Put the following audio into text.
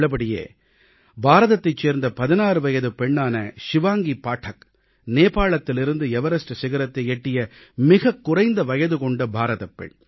உள்ளபடியே பாரதத்தைச் சேர்ந்த 16 வயதுப் பெண்ணான ஷிவாங்கி பாடக் நேபாளத்திலிருந்து எவரஸ்ட் சிகரத்தை எட்டிய மிகக் குறைந்த வயதுகொண்ட பாரதப் பெண்